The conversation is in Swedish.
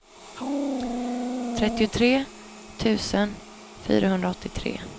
trettiotre tusen fyrahundraåttiotre